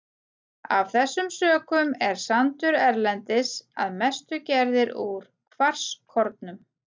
Af þessum sökum er sandur erlendis að mestu gerður úr kvarskornum.